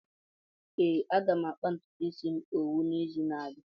Ee, aga m akpa ntutu m isi owu n'izu n'abịa.